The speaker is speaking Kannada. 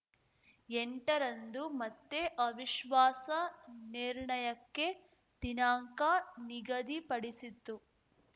ಎಂಟ ರಂದು ಮತ್ತೆ ಅವಿಶ್ವಾಸ ನಿರ್ಣಯಕ್ಕೆ ದಿನಾಂಕ ನಿಗದಿಪಡಿಸಿತ್ತು